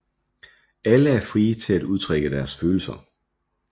Alle er frie til at udtrykke deres følelser